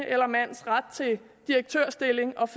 eller mands ret til direktørstilling og